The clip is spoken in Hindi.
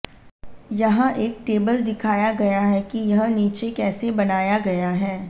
यहां एक टेबल दिखाया गया है कि यह नीचे कैसे बनाया गया है